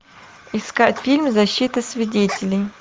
искать фильм защита свидетелей